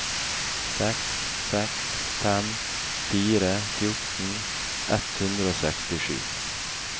seks seks fem fire fjorten ett hundre og sekstisju